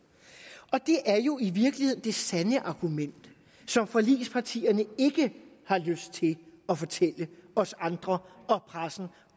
og det er jo i virkeligheden det sande argument som forligspartierne ikke har lyst til at fortælle os andre og pressen